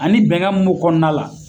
Ani bɛn kan mun b'o kɔnɔna la.